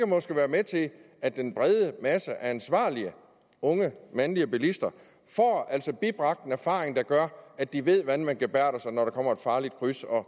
måske være med til at den brede masse af ansvarlige unge mandlige bilister får bibragt en erfaring der gør at de ved hvordan man gebærder sig når der kommer et farligt kryds og